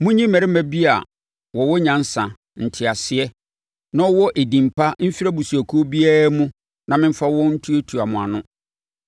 Monyi mmarima bi a wɔwɔ nyansa, nteaseɛ, na wɔwɔ edin pa mfiri abusuakuo biara mu na memfa wɔn ntuatua mo ano.”